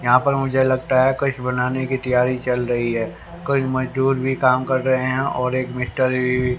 यहां पर मुझे लगता है कुछ बनाने की तैयारी चल रही है कुछ मजदूर भी काम कर रहे हैं और एक --